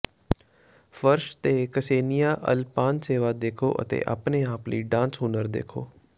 ਫਰਸ਼ ਤੇ Ksenia Alpanseva ਦੇਖੋ ਅਤੇ ਆਪਣੇ ਆਪ ਲਈ ਡਾਂਸ ਹੁਨਰ ਦੇਖੋ